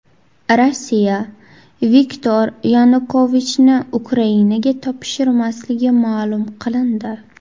Rossiya Viktor Yanukovichni Ukrainaga topshirmasligi ma’lum qilindi.